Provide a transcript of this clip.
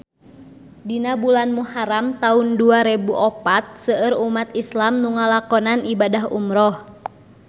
Dina bulan Muharam taun dua rebu opat seueur umat islam nu ngalakonan ibadah umrah